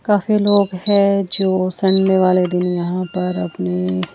काफी लोग है जो संडे वाले दिन यहां पर अपनी--